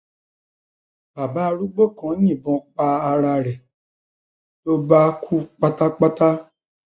bàbá arúgbó kan yìnbọn pa ara rẹ ló bá kú pátápátá